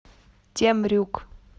темрюк